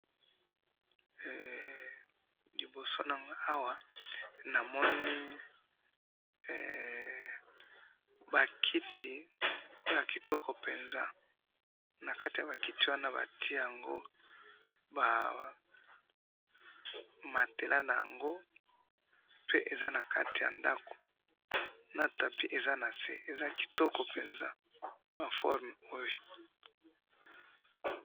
liboso nanga awa namoni makiti ya kitoko penza nakati ya makiti wana batchia yango matelas yango pe eza nakati ya ndaku na tapis eza nase eza kitoko penza ma formes oyo